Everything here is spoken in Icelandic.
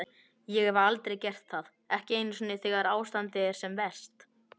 Ég hef aldrei gert það, ekki einu sinni þegar ástandið er sem verst.